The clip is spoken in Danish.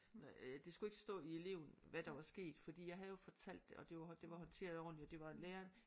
Øh det skulle ikke stå i eleven hvad der var sket fordi jeg havde jo fortalt det og det var det var håndteret ordentligt og det var læreren